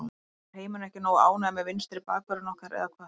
Er heimurinn ekki nógu ánægður með vinstri bakvörðinn okkar eða hvað?